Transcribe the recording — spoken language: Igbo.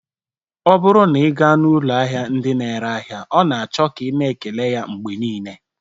Ọ bụrụ na ị gaa n'ụlọ ahịa ndị na-ere ahịa ọ na-achọ ka ị na-ekele ya mgbe niile